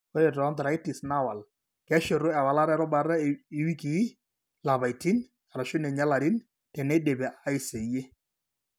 Ore tooarthritis naawal, keshetu ewalata erubata iwikii, ilapaitin, arashu ninye ilarin teneidipi aiseyie.